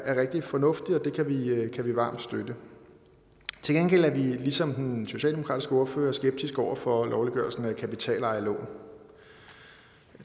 er rigtig fornuftigt og det kan vi varmt støtte til gengæld er vi ligesom den socialdemokratiske ordfører skeptiske over for lovliggørelsen af kapitalejerlån